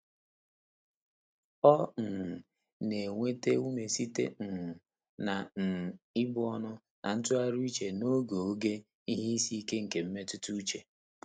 Ọ́ um nà-ènwétá úmé sìté um nà um íbù ọ́nụ́ nà ntụ́ghàrị́ úchè n’ógè ògé ìhè ísí íké nké mmétụ́tà úchè.